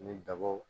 Ni dabaw